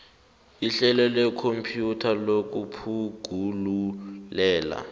ihlelo lekhompyutha lokutjhugululela